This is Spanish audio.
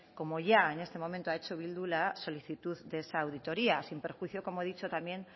como ya en este momento ha hecho bildu la solicitud de esa auditoría sin perjuicio como he dicho también